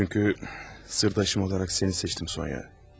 Çünki sirdaşım olaraq səni seçdim, Sonya.